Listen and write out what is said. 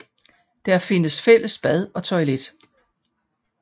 Der findes fælles bad og toilet